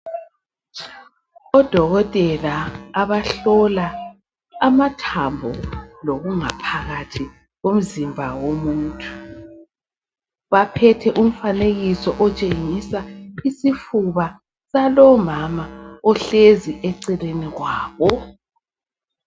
Odokotela abahlola amathambo lokungaphakathi komzimba womuntu baphethe umfanekiso otshengisa isifuna salomama ohlezi eceleni kwabo